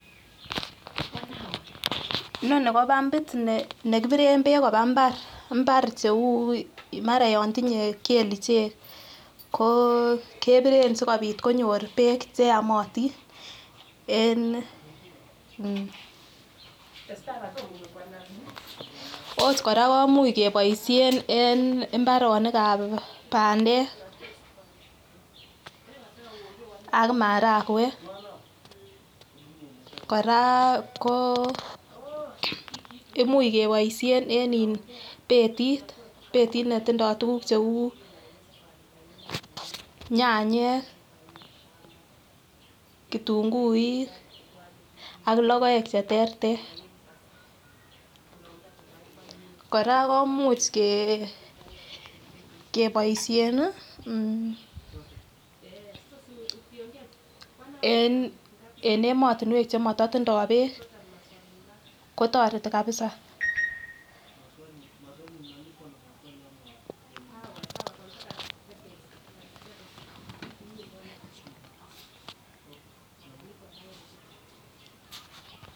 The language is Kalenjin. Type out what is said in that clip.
Inoni ko bambit nekibiren beek kobaa imbar, imbar cheuu maran Yoon tinye kiit neuu kelichek ko keboren asikobit konyor beek cheyomotin en, ot kora kemuch keboishen en imbaronikab bandek ak marakwek kora ko imuch keboishen en betit, betit netindo tukuk cheuu nyanyek , kitung'uik ak lokoek cheterter, kora kemuch keboishen en emotinwek chemotindo beek kotoreti kabisaa.